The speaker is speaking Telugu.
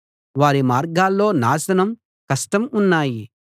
వారి మార్గాల్లో నాశనం కష్టం ఉన్నాయి